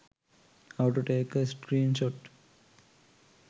how to take a screenshot